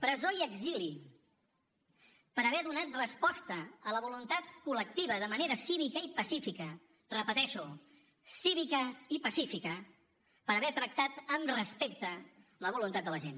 presó i exili per haver donat resposta a la voluntat col·lectiva de manera cívica i pacífica ho repeteixo cívica i pacífica per haver tractat amb respecte la voluntat de la gent